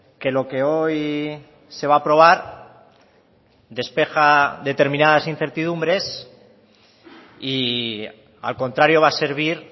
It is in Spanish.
que lo que hoy se va a aprobar despeja determinadas incertidumbres y al contrario va a servir